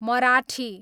Marathi